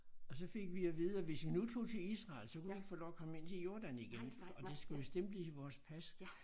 Og så fik vi at vide at hvis vi nu tog til Israel så kunne vi ikke få lov at komme ind til Jordan igen og det skulle vi stemple i vores pas